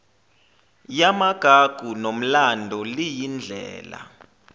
yamagugu nomlando liyindlela